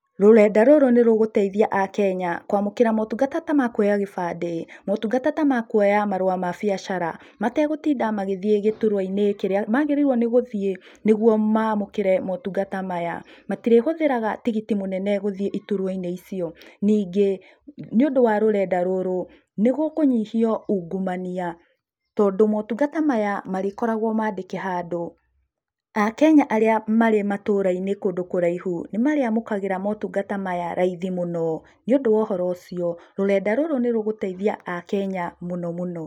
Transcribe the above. Rũrenda rũrũ nĩ rũgũteithia a kenya, kwamũkĩra motungata tamakũoya gĩbandĩ, motungata ta makũoya marũa mabiacara, mategũtinda magĩthiĩ gĩtũruaĩnĩ kĩrĩa magĩrĩirwo nĩ gũthiĩ nĩguo mamũkĩre motungata maya, matirĩhũthĩraga tigiti mũnene gũthiĩ itũrua-inĩ ĩcio, ningĩ, nĩ undũ wa rũrenda rũrũ nĩ gũkũnyihio ungũmania, tondũ motungata maya marĩkoragwo mandĩke handũ, a kenya arĩa marĩ matũra -inĩ kũndũ kuraihũ nĩmarĩamũkĩraga motungata maya raithi mũno nĩũndũ wa ũhoro ũcio, rũrenda rũrũ nĩ rũgũteithia a kenya mũno mũno.